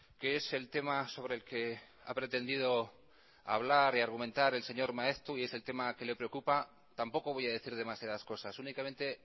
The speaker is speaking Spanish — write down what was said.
que es el tema sobre el que ha pretendido hablar y argumentar el señor maeztu y es el tema que le preocupa tampoco voy a decir demasiadas cosas únicamente